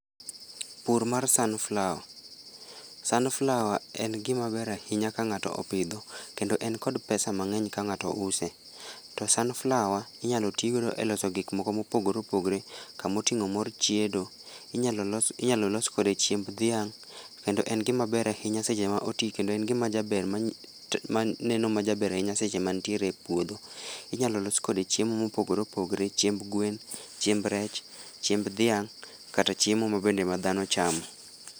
Pur mar sunflower. sunflower en gima ber ahinya ka ng'ato opidho, kendo en kod pesa mang'eny ka ng'ato use. To sunflower, inyalo ti godo e loso gik moko mopogore opogore. Kamoting'o mor chiedo, inyalo los inyalo los kode chiemb dhiang', kendo en gima ber ahinya seche ma oti kendo en gima jaber ma maneno ma jaber ahinya seche ma ntiere a puodho. Inyalo los kode chiemo mopogre opogore, chiemb gwen, chiemb rech, chiemb dhiang', kata chiemo ma bende ma dhano chamo